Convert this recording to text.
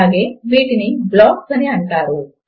అలాగే వీటిని బ్లాక్స్ అని అంటారు